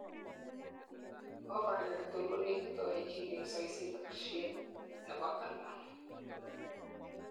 ovary agetugul konekit oechin en soisit ak shapit nebo almond